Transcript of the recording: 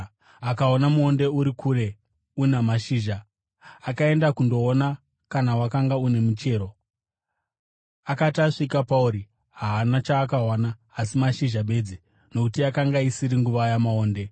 Akaona muonde uri kure una mashizha, akaenda kundoona kana wakanga une muchero. Akati asvika pauri, haana chaakawana asi mashizha bedzi, nokuti yakanga isiri nguva yamaonde.